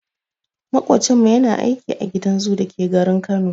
Maƙocinmu yana aiki a gidan zoo dake garin Kano.